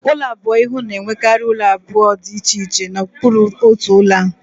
Ulo abụọ-ihu na-enwekarị ụlọ obibi abụọ dị iche iche na okpuru otu ụlọ a